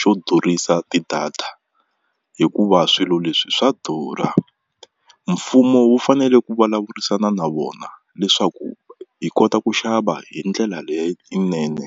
xo durhisa ti-data hikuva swilo leswi swa durha mfumo wu fanele ku vulavurisana na vona leswaku hi kota ku xava hi ndlela leyinene.